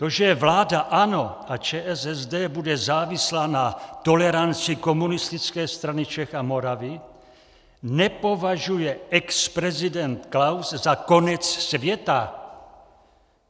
To, že vláda ANO a ČSSD bude závislá na toleranci Komunistické strany Čech a Moravy, nepovažuje exprezident Klaus za konec světa.